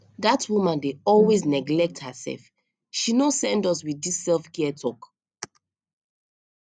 dat woman dey always neglect herself she no send us wit dis selfcare talk